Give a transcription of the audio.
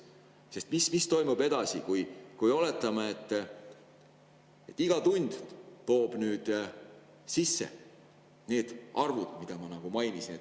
Sest mis toimub edasi, kui oletame, et iga tund toob sisse sellisel arvul, nagu ma mainisin?